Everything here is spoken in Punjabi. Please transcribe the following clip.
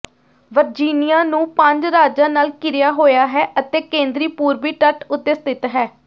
ਵਰਜੀਨੀਆ ਨੂੰ ਪੰਜ ਰਾਜਾਂ ਨਾਲ ਘਿਰਿਆ ਹੋਇਆ ਹੈ ਅਤੇ ਕੇਂਦਰੀ ਪੂਰਬੀ ਤੱਟ ਉੱਤੇ ਸਥਿਤ ਹੈ